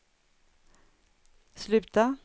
sluta